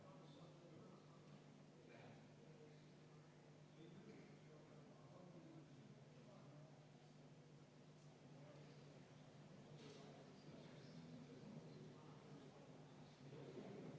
Austatud kolleegid, me oleme 25. muudatusettepaneku juures.